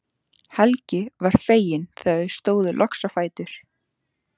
Helgi var feginn þegar þau stóðu loks á fætur.